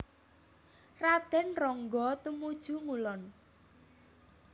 Raden Ronggo tumuju ngulon